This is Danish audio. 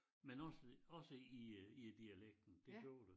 Men også også i øh i dialekten det gjorde det